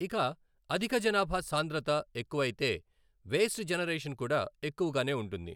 ఇక అధిక జనాభా సాంద్రత ఎక్కువయితే వేస్ట్ జెనరేషన్ కూడా ఎక్కువగానే ఉంటుంది.